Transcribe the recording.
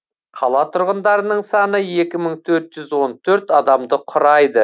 қала тұрғындарының саны екі мың төрт жүз он төрт адамды құрайды